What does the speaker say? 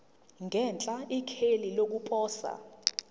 ngenhla ikheli lokuposa